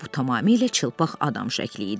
Bu tamamilə çılpaq adam şəkli idi.